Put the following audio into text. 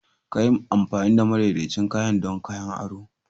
Ka yi amfani da madaidaicin kayan don kayan ado.